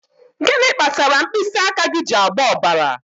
Gịnị kpatara mkpịsị aka gị ji agba ọbara?